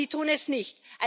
Sie tun es nicht!